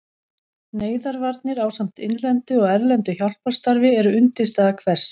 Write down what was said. Neyðarvarnir ásamt innlendu og erlendu hjálparstarfi eru undirstaða hvers